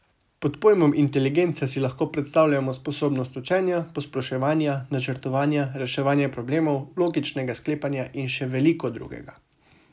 Pod pojmom inteligenca si lahko predstavljamo sposobnost učenja, posploševanja, načrtovanja, reševanja problemov, logičnega sklepanja in še veliko drugega.